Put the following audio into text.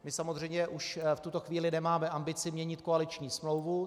My samozřejmě už v tuto chvíli nemáme ambici měnit koaliční smlouvu.